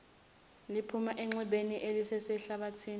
liphuma enxebeni elisesihlathini